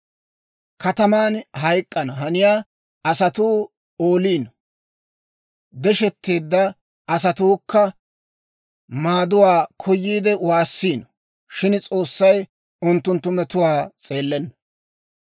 Kataman hayk'k'ana haniyaa asatuu ooliino; deshetteedda asatuukka maaduwaa koyiide waassiino; shin S'oossay unttunttu metuwaa s'eellenna.